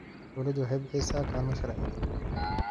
Dawladdu waxay bixisaa kaalmo sharci.